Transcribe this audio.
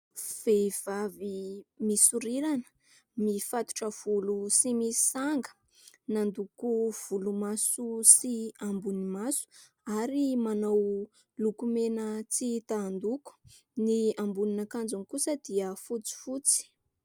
Vehivavy misorirana, mifatotra volo sy misy sanga, nandoko volomaso sy ambony maso ary manao lokomena tsy ahitan-doko. Ny ambonin'akanjony kosa dia fotsifotsy.